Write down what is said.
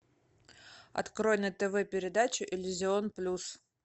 открой на тв передачу иллюзион плюс